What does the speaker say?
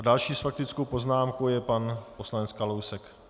A další s faktickou poznámkou je pan poslanec Kalousek.